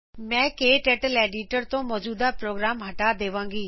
ਮੈ ਕਟਰਟਲ ਐਡੀਟਰ ਤੋਂ ਮੌਜੂਦਾ ਪ੍ਰੋਗਰਾਮ ਹਟਾ ਦੇਵਾਂਗੀ